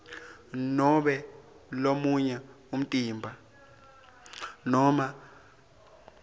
nobe lomunye umtimba